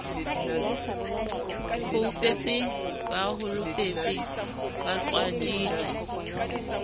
foufetse ba holofetse ba qhwadile